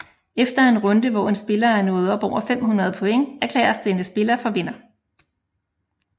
Efter en runde hvor en spiller er nået op over 500 point erklæres denne spiller for vinder